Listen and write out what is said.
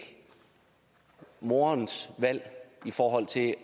moderens valg i forhold til at